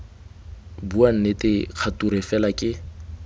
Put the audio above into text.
bua nnete kgature fela ke